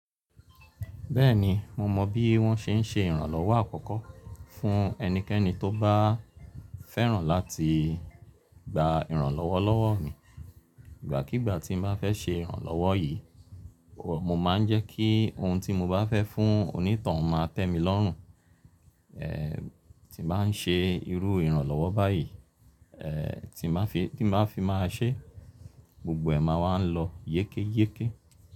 Bẹ́ẹ̀ni, mo mọ bí wọ́n se n ṣe ìrànlọ́wọ́ àkọ́kọ́ fún ẹnikẹ́ni tó bá fẹ́ràn láti gba ìrànlọ́wọ́ lọ́wọ́ mi. Ìgbàkígbà tí bá fẹ́ ṣe ìrànlọ́wọ́ yí, mo máa ń jẹ́ kí ohun tí mo bá fẹ́ fún onítoun máa tẹ́ mi lọ́rùn. Eeh, tí mo bá n ṣe irú ìrànlọ́wọ́ báyì, eh tí maa fi máa ṣe, gbogbo ẹ̀ máa wa lọ yékéyéké.